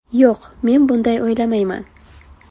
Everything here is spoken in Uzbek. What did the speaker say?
Yo‘q, men bunday o‘ylamayman.